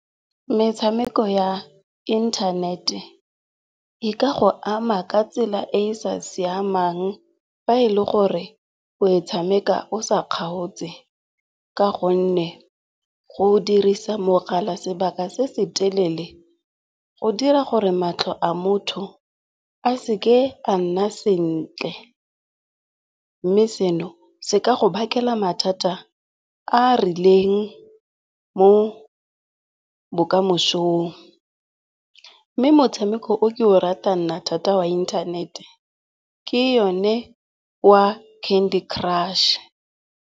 Metshameko ya internet-e e ka go ama ka tsela e e sa siamang fa e le gore o e tshameka o sa kgaotse ka gonne go dirisa mogala sebaka se se telele go dira gore matlho a motho a seke a nna sentle. Mme seno se ka go bakela mathata a a rileng mo bokamosong. Mme motshameko o ke o ratang nna thata wa inthanete ke yone wa Candy Crush.